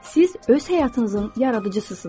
Siz öz həyatınızın yaradıcısısınız.